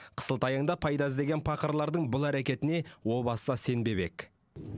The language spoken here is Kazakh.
қысылтаяңда пайда іздеген пақырлардың бұл әрекетіне о баста сенбеп едік